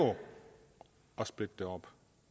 at splitte det op